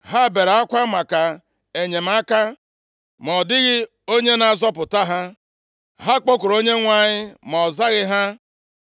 Ha bere akwa maka enyemaka, ma ọ dịghị onye na-azọpụta ha. Ha kpọkuru Onyenwe anyị, ma ọ zaghị ha.